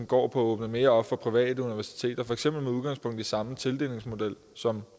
går på at åbne mere op for private universiteter for eksempel med udgangspunkt i samme tildelingsmodel som